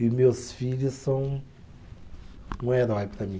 E meus filhos são um herói para mim.